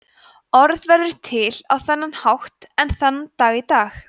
orð verða til á þennan hátt enn þann dag í dag